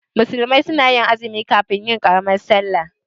Musulmi suna azumi kafin yin karamin sallah